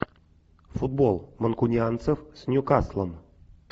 футбол манкунианцев с ньюкаслом